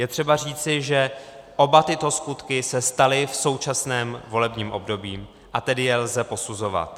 Je třeba říci, že oba tyto skutky se staly v současném volebním období, a tedy je lze posuzovat.